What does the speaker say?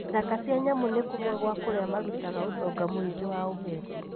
Ithaka cia nyamũ nĩ kũmwe gwa kũrĩa marutaga ũtonga mũingĩ wa ũgendi.